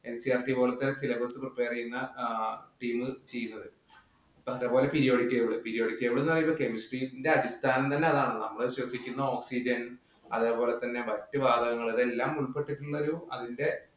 NCERT പോലത്തെ syllabus prepare ചെയ്യുന്ന team ചെയ്യുന്നത്. അതുപോലെ periodic table. Periodic table എന്ന് പറയുന്നത് chemistry യുടെ അടിസ്ഥാനം തന്നെ അതാണല്ലോ. നമ്മള് ശ്വസിക്കുന്ന oxygen അതേപോലെതന്നെ മറ്റു വാതകങ്ങള്‍ അതെല്ലാം ഉൾപ്പെട്ടിട്ടുള്ളൊരു അതിന്‍റെ